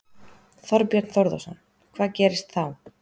Þorbjörn Þórðarson: Hvað gerist þá?